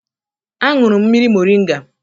Aṅụrụ m mmiri moringa